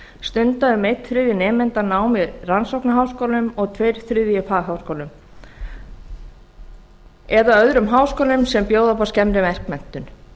stunda um einn þriðji nemenda nám á rannsóknarháskólum og tveir þriðju fagháskólum eða öðrum háskólum sem bjóða upp á skemmri verkmenntun